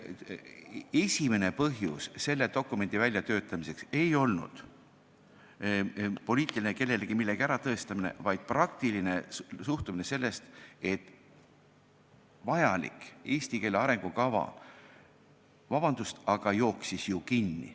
Esimene põhjus selle dokumendi väljatöötamiseks ei olnud poliitiline soov kellelegi midagi tõestada, vaid praktiline suhtumine sellesse, et vajalik eesti keele arengukava, vabandust, jooksis ju kinni.